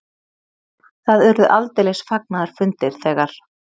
Það urðu aldeilis fagnaðarfundir þegar